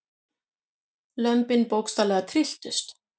Lömbin bókstaflega trylltust.